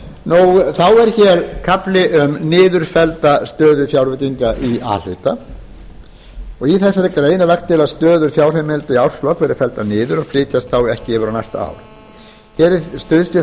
með þá er kafli um niðurfellda stöðu fjárveitinga í a hluta í þessari grein er lagt til að stöður fjárheimilda í árslok verði felldar niður og flytjist því ekki yfir á næsta ár hér er stuðst við